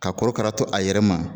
Ka korokara to a yɛrɛ ma.